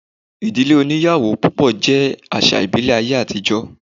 Ìdílé oníyàwó púpọ̀ jẹ́ àsà íbìlẹ̀ ayé àtijọ́